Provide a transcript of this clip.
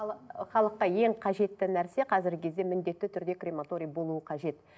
халыққа ең қажетті нәрсе қазіргі кезде міндетті түрде крематорий болуы қажет